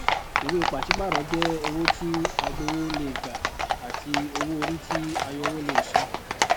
ìwé pàṣípààrọ jẹ owó tí agbawó lè gbà àti owó orí tí ayọwó lè san